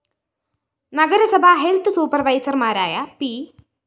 നഗരസഭാ ഹെൽത്ത്‌ സൂപ്പര്‍വൈസര്‍മാരായ പി